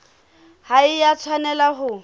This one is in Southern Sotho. ha e a tshwanela ho